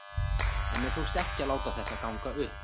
En mér tókst ekki að láta þetta ganga upp.